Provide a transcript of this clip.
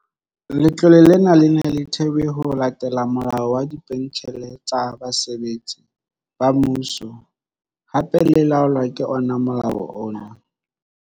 Letlole lena le ne le thewe ho latela Molao wa Dipentjhele tsa Basebetsi ba Mmuso, hape le laolwa ka ona molao ona.